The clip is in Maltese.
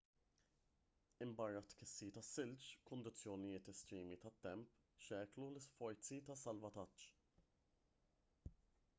minbarra t-tkissir tas-silġ kundizzjonijiet estremi tat-temp xekklu l-isforzi ta' salvataġġ